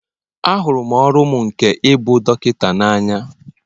Ahụrụ m ọrụ m nke ịbụ dọkịta n'anya